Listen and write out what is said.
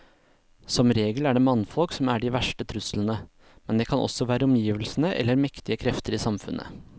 Som regel er det mannfolk som er de verste truslene, men det kan også være omgivelsene eller mektige krefter i samfunnet.